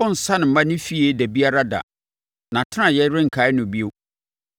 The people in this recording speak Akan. Ɔrensane mma ne fie da biara da; nʼatenaeɛ renkae no bio.